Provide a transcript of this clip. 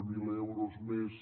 zero euros més